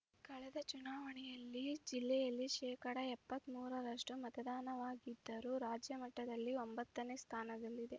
ಕಳೆದ ಚುನಾವಣೆಯಲ್ಲಿ ಜಿಲ್ಲೆಯಲ್ಲಿ ಶೇಕಡಾ ಎಪ್ಪತ್ತ್ ಮೂರರಷ್ಟುಮತದಾನವಾಗಿದ್ದರೂ ರಾಜ್ಯ ಮಟ್ಟದಲ್ಲಿ ಒಂಬತ್ತನೇ ಸ್ಥಾನದಲ್ಲಿದೆ